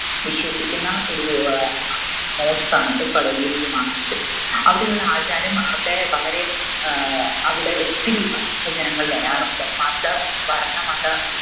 വിശ്വസിക്കുന്ന ഒരു ആഹ് mosque ആണത് കടുവയിൽ ജുമാ masjid അവിടെയുള്ള ആചാരം അവിടെ വളരെ ഏർ അവിടെ ഒത്തിരി ഭക്തജനങ്ങൾ വരാറുണ്ട് മത വർണമത